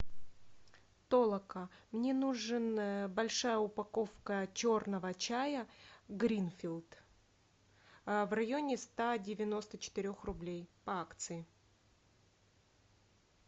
толока мне нужен большая упаковка черного чая гринфилд в районе ста девяносто четырех рублей по акции